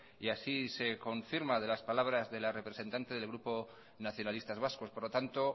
y así se confirma de las palabras de la representante del grupo nacionalistas vascos por lo tanto